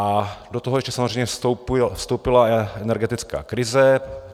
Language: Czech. A do toho ještě samozřejmě vstoupila energetická krize.